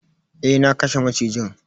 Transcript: Eh, na kashe macijin.